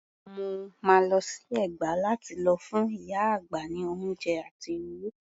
Mo máa lọ sí Ẹ̀gbá lá ti lọ fún ìyá àgbà ní oúnjẹ àti owó.